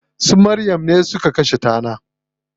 Su Maryam ne suka kashe tanar.